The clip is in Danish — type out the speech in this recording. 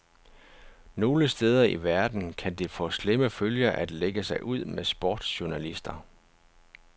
Nogle steder i verden kan det få slemme følger at lægge sig ud med sportsjournalister.